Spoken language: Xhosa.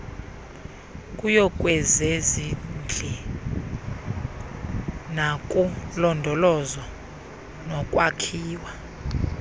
kuyokwezezindli nakulondolozo nokwakhiwa